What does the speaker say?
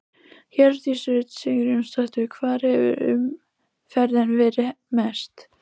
Hjördís Rut Sigurjónsdóttir: Hvar hefur umferðin verið mest?